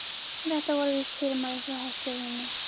En þetta voru víst fyrirmæli frá herstjórninni.